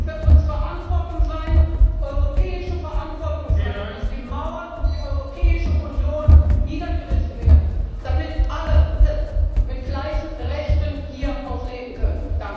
Er sollte für uns Verantwortung sein, europäische Verantwortung sein, dass die Mauern um die Europäische Union niedergerissen werden, damit alle mit gleichen Rechten hier auch leben können.